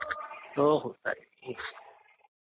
हो हो चालेल .